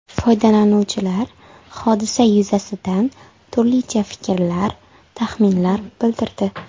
Foydalanuvchilar hodisa yuzasidan turlicha fikrlar, taxminlar bildirdi.